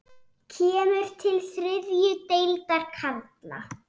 Kemur til þriðju deildar karla?